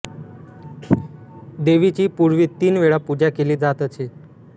देवीची पूर्वी तीन वेळा पूजा केली जात असे